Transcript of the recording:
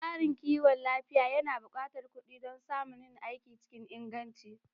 Tsarin kiwon lafiya yana buƙatar kuɗi dan a samu yin aiki cikin inganci